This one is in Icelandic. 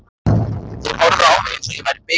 Þeir horfðu á mig eins og ég væri biluð.